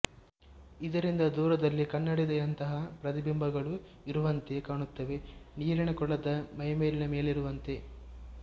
ಇದರಿಂದ ದೂರದಲ್ಲಿ ಕನ್ನಡಿಯಂತಹ ಪ್ರತಿಬಿಂಬಗಳು ಇರುವಂತೆ ಕಾಣುತ್ತವೆ ನೀರಿನ ಕೊಳದ ಮೇಲ್ಮೈನ ಮೇಲಿರುವಂತೆ